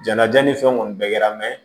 Jɛnaja ni fɛnw kɔni bɛɛ kɛra